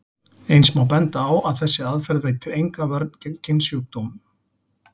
Eins má benda á að þessi aðferð veitir enga vörn gegn kynsjúkdómum.